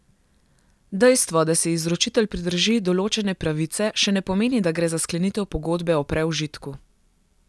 Dejstvo, da si izročitelj pridrži določene pravice, še ne pomeni, da gre za sklenitev pogodbe o preužitku.